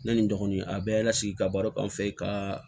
Ne ni dɔgɔnin a bɛɛ lasigi ka baara k'an fɛ yen ka